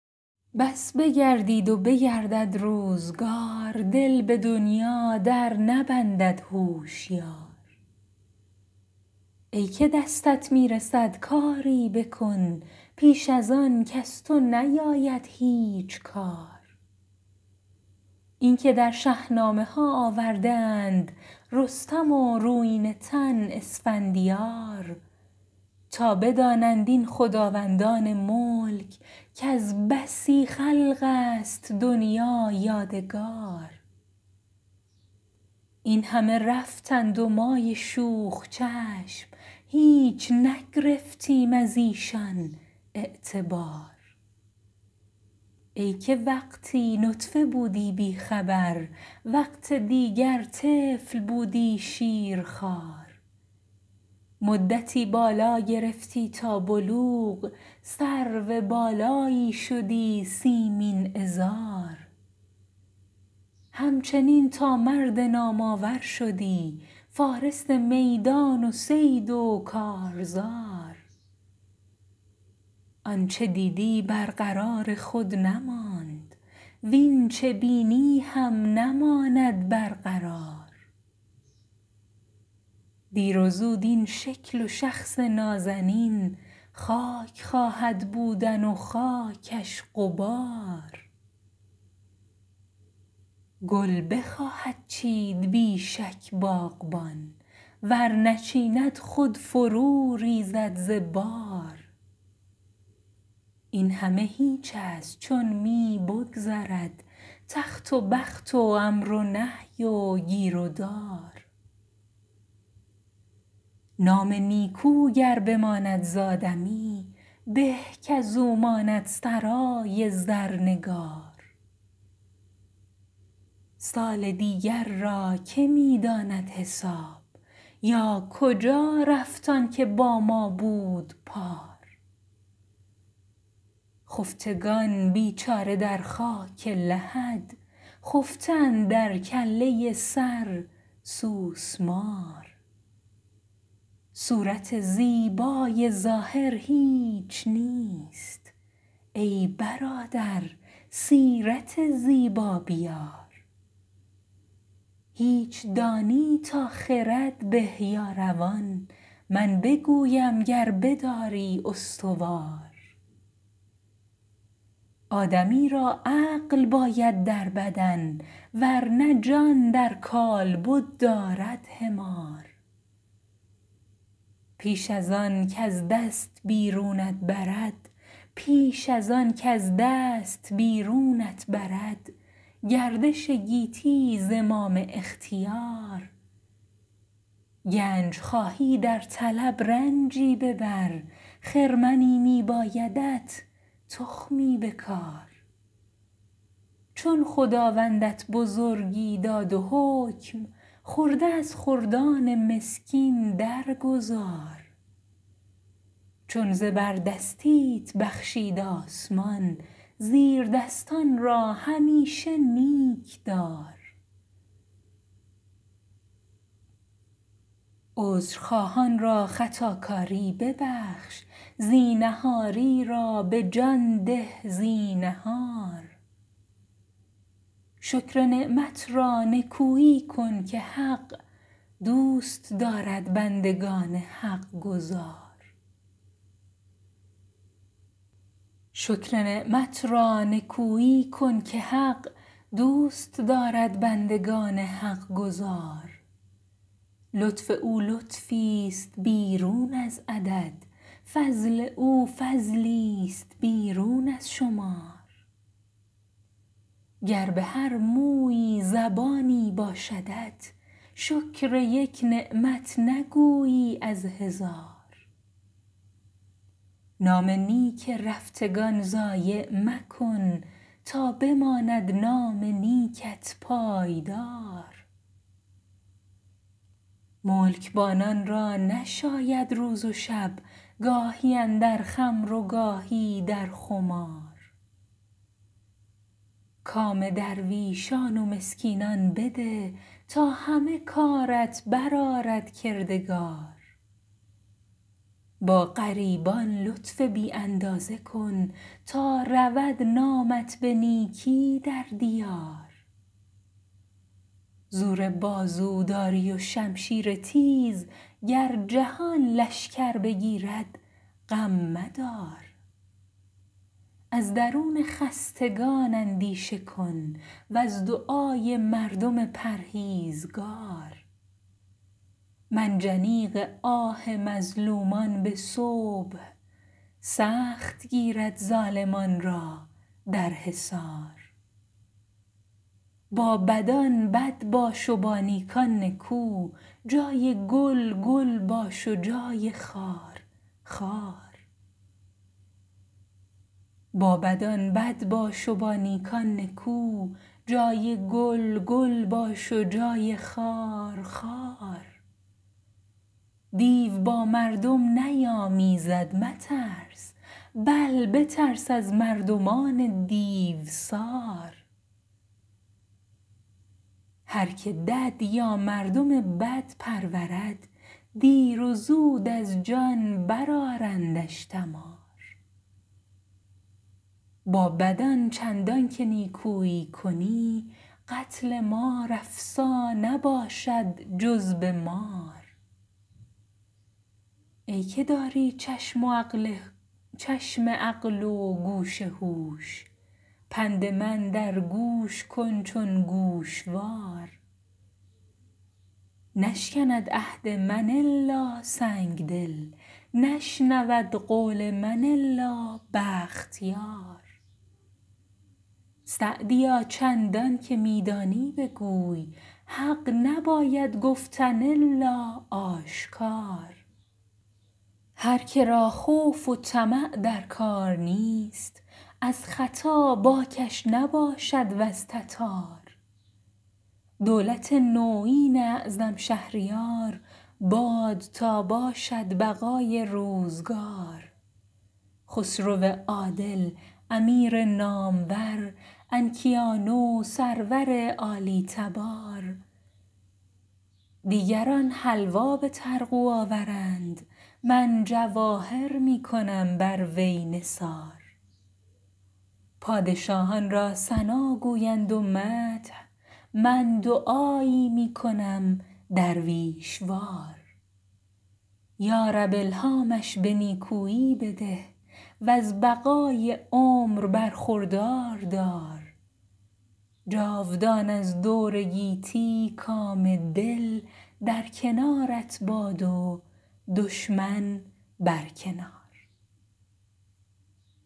بس بگردید و بگردد روزگار دل به دنیا در نبندد هوشیار ای که دستت می رسد کاری بکن پیش از آن کز تو نیاید هیچ کار اینکه در شهنامه ها آورده اند رستم و رویینه تن اسفندیار تا بدانند این خداوندان ملک کز بسی خلق است دنیا یادگار این همه رفتند و مای شوخ چشم هیچ نگرفتیم از ایشان اعتبار ای که وقتی نطفه بودی بی خبر وقت دیگر طفل بودی شیرخوار مدتی بالا گرفتی تا بلوغ سرو بالایی شدی سیمین عذار همچنین تا مرد نام آور شدی فارس میدان و صید و کارزار آنچه دیدی بر قرار خود نماند واین چه بینی هم نماند بر قرار دیر و زود این شکل و شخص نازنین خاک خواهد بودن و خاکش غبار گل بخواهد چید بی شک باغبان ور نچیند خود فرو ریزد ز بار این همه هیچ است چون می بگذرد تخت و بخت و امر و نهی و گیر و دار نام نیکو گر بماند زآدمی به کاز او ماند سرای زرنگار سال دیگر را که می داند حساب یا کجا رفت آن که با ما بود پار خفتگان بیچاره در خاک لحد خفته اندر کله سر سوسمار صورت زیبای ظاهر هیچ نیست ای برادر سیرت زیبا بیار هیچ دانی تا خرد به یا روان من بگویم گر بداری استوار آدمی را عقل باید در بدن ور نه جان در کالبد دارد حمار پیش از آن کز دست بیرونت برد گردش گیتی زمام اختیار گنج خواهی در طلب رنجی ببر خرمنی می بایدت تخمی بکار چون خداوندت بزرگی داد و حکم خرده از خردان مسکین در گذار چون زبردستیت بخشید آسمان زیردستان را همیشه نیک دار عذرخواهان را خطاکاری ببخش زینهاری را به جان ده زینهار شکر نعمت را نکویی کن که حق دوست دارد بندگان حقگزار لطف او لطفیست بیرون از عدد فضل او فضلیست بیرون از شمار گر به هر مویی زبانی باشدت شکر یک نعمت نگویی از هزار نام نیک رفتگان ضایع مکن تا بماند نام نیکت پایدار ملکبانان را نشاید روز و شب گاهی اندر خمر و گاهی در خمار کام درویشان و مسکینان بده تا همه کارت بر آرد کردگار با غریبان لطف بی اندازه کن تا رود نامت به نیکی در دیار زور بازو داری و شمشیر تیز گر جهان لشکر بگیرد غم مدار از درون خستگان اندیشه کن وز دعای مردم پرهیزگار منجنیق آه مظلومان به صبح سخت گیرد ظالمان را در حصار با بدان بد باش و با نیکان نکو جای گل گل باش و جای خار خار دیو با مردم نیامیزد مترس بل بترس از مردمان دیوسار هر که دد یا مردم بد پرورد دیر زود از جان بر آرندش دمار با بدان چندان که نیکویی کنی قتل مار افسا نباشد جز به مار ای که داری چشم عقل و گوش هوش پند من در گوش کن چون گوشوار نشکند عهد من الا سنگدل نشنود قول من الا بختیار سعدیا چندان که می دانی بگوی حق نباید گفتن الا آشکار هر که را خوف و طمع در کار نیست از ختا باکش نباشد وز تتار دولت نویین اعظم شهریار باد تا باشد بقای روزگار خسرو عادل امیر نامور انکیانو سرور عالی تبار دیگران حلوا به طرغو آورند من جواهر می کنم بر وی نثار پادشاهان را ثنا گویند و مدح من دعایی می کنم درویش وار یارب الهامش به نیکویی بده وز بقای عمر برخوردار دار جاودان از دور گیتی کام دل در کنارت باد و دشمن بر کنار